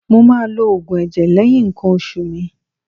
Mo máa lo Ògùn ẹ̀jẹ̀ lẹ́yìn ǹkan oṣù mi.